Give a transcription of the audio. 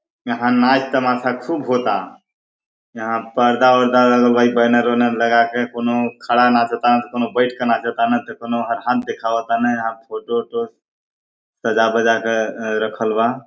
यहाँ नाच तमाशा खूब होता यहाँ पर्दा- उर्दा लगल बा ई बैनर उनर लगा के कोनो खड़ा नाचता त कोनो बैठ के नाचता कोनो हाथ दिखावता अउर जो जो सजा- बजा के रखल बा--